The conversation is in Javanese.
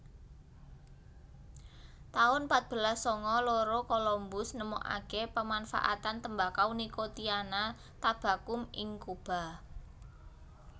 taun patbelas sanga loro Colombus nemokake pemanfaatan tembakau Nicotiana tabacum ing Cuba